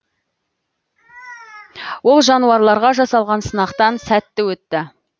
ол жануарларға жасалған сынақтан сәтті өтті